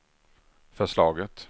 förslaget